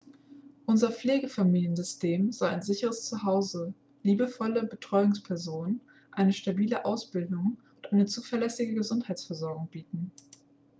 unser pflegefamiliensystem soll ein sicheres zu hause liebevolle betreuungspersonen eine stabile ausbildung und eine zuverlässige gesundheitsversorgung bieten